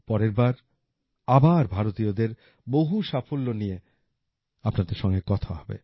পরেরবার আবার ভারতীয়দের বহু সাফল্য নিয়ে আপনাদের সঙ্গে কথা হবে